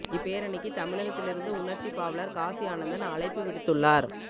இப் போரணிக்கு தமிழகத்திலிருந்து உணர்ச்சி பாவலர் காசி ஆனந்தன் அழைப்பு விடுத்துள்ளார்